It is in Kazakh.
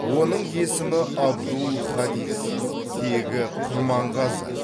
оның есімі абдул хадис тегі құрманғазы